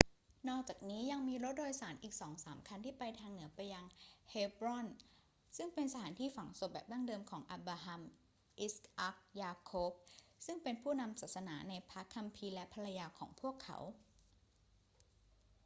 นอกจากนี้ยังมีรถโดยสารอีกสองสามคันที่ไปทางเหนือไปยังเฮบรอน ซึ่งเป็นสถานที่ฝังศพแบบดั้งเดิมของอับราฮัม อิสอัค ยาโคบ ซึ่งเป็นผู้นำทางศาสนาในพระคัมภีร์ และภรรยาของพวกเขา